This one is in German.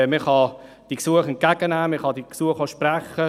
Man kann die Gesuche entgegennehmen und ihnen auch entsprechen.